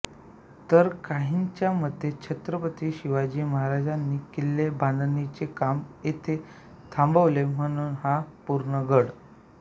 तर काहींच्या मते छत्रपती शिवाजी महाराजांनी किल्ले बांधणीचे काम येथे थांबवले म्हणून हा पूर्णगड